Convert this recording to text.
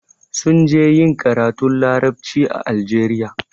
Sun je ƴin karatun laraɓci a Algeria.